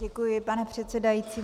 Děkuji, pane předsedající.